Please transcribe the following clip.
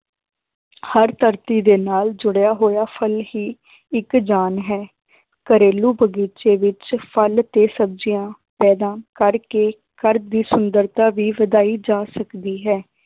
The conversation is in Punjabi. ਹਰ ਧਰਤੀ ਦੇ ਨਾਲ ਜੁੜਿਆ ਹੋਇਆ ਫਲ ਹੀ ਇੱਕ ਜਾਨ ਹੈ, ਘਰੇਲੂ ਬਗ਼ੀਚੇ ਵਿੱਚ ਫਲ ਤੇ ਸਬਜ਼ੀਆਂ ਪੈਦਾ ਕਰਕੇ ਘਰ ਦੀ ਸੁੰਦਰਤਾ ਵੀ ਵਧਾਈ ਜਾ ਸਕਦੀ ਹੈ